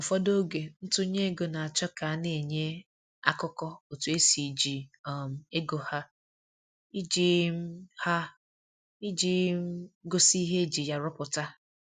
Ụfọdụ oge ntụnye ego na-achọ ka a na-enye akụkọ otu esi eji um ego ha, iji um ha, iji um gosi ihe eji ya rụpụta